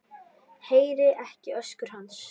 Heyri ekki öskur hans.